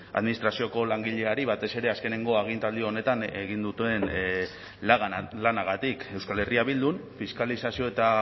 administrazioko langileari batez ere azkeneko agintaldi honetan egin duten lanagatik euskal herria bildun fiskalizazio eta